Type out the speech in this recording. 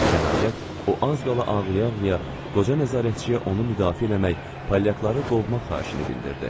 Nəhayət, o az qala ağlaya-ağlaya qoca nəzarətçiyə onu müdafiə eləmək, palyaqları qovmaq xahişini bildirdi.